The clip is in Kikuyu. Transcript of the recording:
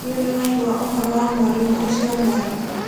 Nĩ ũrĩ waigua ũhoro wa mwarimũ ũcio mwerũ?